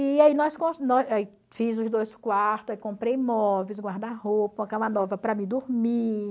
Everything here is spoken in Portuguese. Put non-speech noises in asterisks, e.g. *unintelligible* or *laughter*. E aí *unintelligible* fiz os dois quartos, comprei móveis, guarda-roupa, uma cama nova para mim dormir.